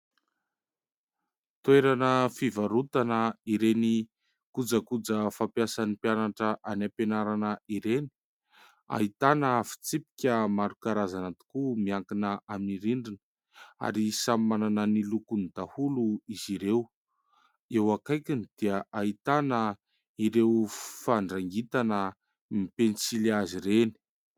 Toerana fivarotana ireny kojakoja fampiasan'ny mpianatra any am-pianarana ireny. Ahitana fitsipika maro karazana tokoa miankina amin'ny rindrina ary samy manana ny lokony daholo izy ireo ; eo akaikiny dia ahitana ireo fandrangitana ny pensilihazo ireny.